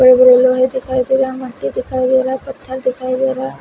मिट्टी दिखाई दे रहा है पत्थर दिखाई दे रहा है।